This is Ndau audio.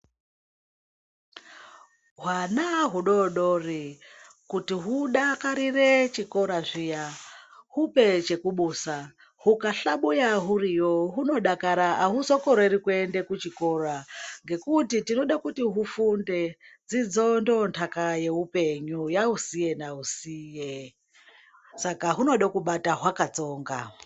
Hwana hudodori kuti hudakarire chikora zviya hupe chekubusa hukahlabuya huriyo hunodakara hahuzokoreri kuenda kuchikora. Ngekuti tinoda kuti hufunde dzidzo ndonhaka yeupenyu yausiye nausiye. Saka hunoda kubata hwakatsonga.